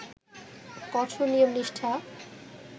কঠোর নিয়ম-নিষ্ঠা